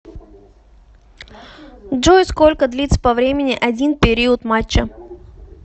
джой сколько длится по времени один период матча